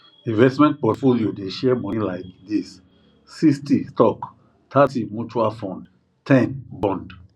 investment portfolio dey share money like this 60 stock thirty mutual fund ten bond